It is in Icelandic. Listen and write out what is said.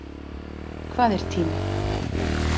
Hvað er tími?